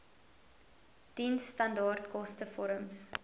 diensstandaard koste vorms